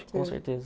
Com certeza.